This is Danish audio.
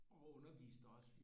Og underviste også